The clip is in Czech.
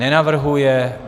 Nenavrhuje.